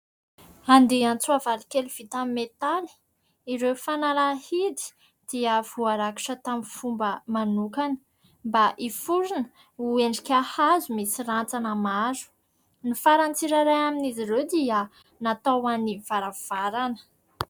Andian-tsoavaly kely vita amin'ny metaly. Ireo fanalahidy dia voarakitra tamin'ny fomba manokana mba hiforona ho endrika hazo misy rantsana maro. Ny faran'ny tsirairay amin'izy ireo dia natao ho an'ny varavarana.